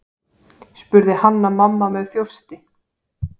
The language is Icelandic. spurði Hanna-Mamma með þjósti.